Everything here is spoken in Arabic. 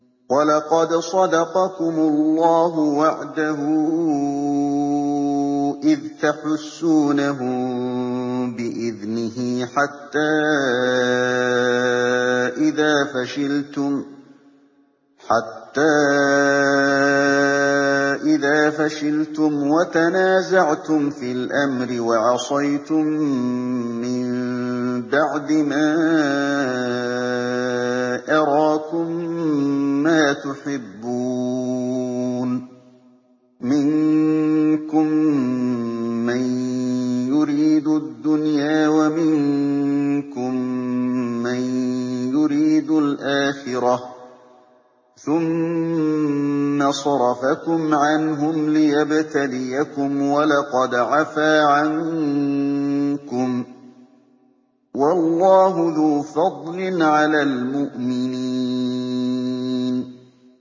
وَلَقَدْ صَدَقَكُمُ اللَّهُ وَعْدَهُ إِذْ تَحُسُّونَهُم بِإِذْنِهِ ۖ حَتَّىٰ إِذَا فَشِلْتُمْ وَتَنَازَعْتُمْ فِي الْأَمْرِ وَعَصَيْتُم مِّن بَعْدِ مَا أَرَاكُم مَّا تُحِبُّونَ ۚ مِنكُم مَّن يُرِيدُ الدُّنْيَا وَمِنكُم مَّن يُرِيدُ الْآخِرَةَ ۚ ثُمَّ صَرَفَكُمْ عَنْهُمْ لِيَبْتَلِيَكُمْ ۖ وَلَقَدْ عَفَا عَنكُمْ ۗ وَاللَّهُ ذُو فَضْلٍ عَلَى الْمُؤْمِنِينَ